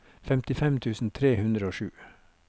femtifem tusen tre hundre og sju